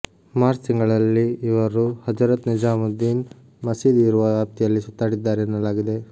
March ತಿಂಗಳಲ್ಲಿ ಇವರು ಹಜರತ್ ನಿಜಾಮುದ್ದೀನ್ ಮಸೀದಿ ಇರುವ ವ್ಯಾಪ್ತಿಯಲ್ಲಿ ಸುತ್ತಾಡಿದ್ದಾರೆ ಎನ್ನಲಾಗಿದೆ